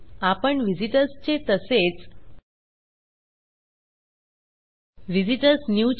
आपणvisitors चे तसेच visit ORS new